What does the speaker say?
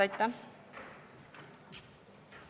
Aitäh!